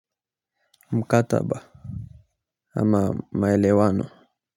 Mkataba ama maelewano.